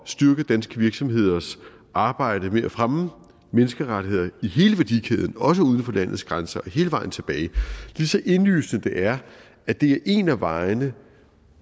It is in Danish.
styrke danske virksomheders arbejde med at fremme menneskerettigheder i hele værdikæden også uden for landets grænser og hele vejen tilbage ja lige så indlysende det er at det er en af vejene